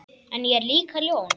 En ég er líka ljón.